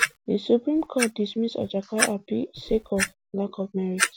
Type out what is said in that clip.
di supreme court dismiss ajaka appeal sake of lack of merit